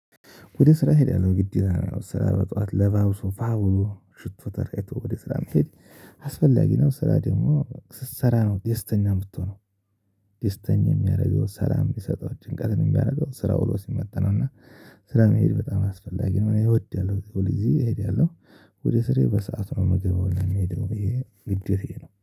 ወደ ስራ እሄዳለሁ ግዴታ ነው ስራ በጧት ለባብሶ ፏ ብሎ ሽቶ ተረጭቶ ወደ ስራ መሄድ አስፈላጊ ነው። ስራ ደግሞ ስትሰራ ነው ደስተኛ የምትሆነው ደስተኛ የሚያደርገው ሰላም የሚሰጠው ጭንቀትን የሚያደርገው ስራ ውሎ ሲመጣ ነው። እና ስራ መሄድ በጣም አስፈላጊ ነው። እኔ እወዳለው ሁልጊዜ እሄዳለሁ። ወደ ስራዬ በሰአት ምገባው ነው የምሄደው ይሄ ግዴታዬ ነው